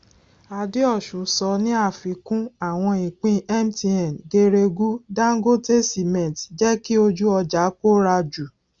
adeosun sọ ní àfikún àwọn ìpín mtn geregu dangote cement jẹ kí ojú ọjà kóra jù